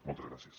moltes gràcies